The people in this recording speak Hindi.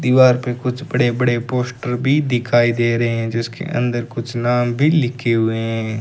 दीवार पे कुछ बड़े बड़े पोस्टर भी दिखाई दे रहे हैं जिसके अंदर कुछ नाम भी लिखे हुए हैं।